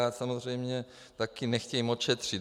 A samozřejmě taky nechtějí moc šetřit.